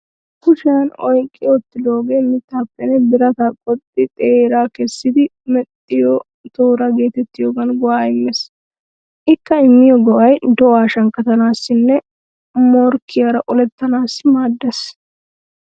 Kushiyan oyqqi uttidoogee mittaappenne birata qoxxidi xeeraa kessidi mexxiyo tooraa geetettiyogan go'aa immees. Ikka immiyo go'ay do'a shankkatanaassinne morkkiyaara olettanaassi maaddeees.